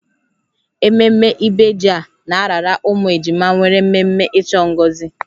Ememme ibeji a na-arara ụmụ ejima nwere mmemme ịchọ ngozi